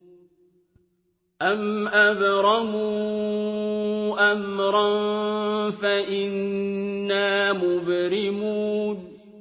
أَمْ أَبْرَمُوا أَمْرًا فَإِنَّا مُبْرِمُونَ